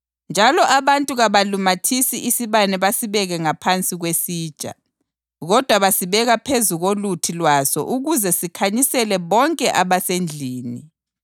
Njalo abantu kabalumathisi isibane basibeke ngaphansi kwesitsha. Kodwa basibeka phezu koluthi lwaso ukuze sikhanyisele bonke abasendlini.